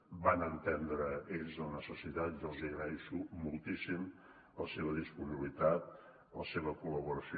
en van entendre ells la necessitat jo els agraeixo moltíssim la seva disponibilitat la seva col·laboració